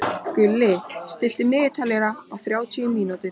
Gulli, stilltu niðurteljara á þrjátíu mínútur.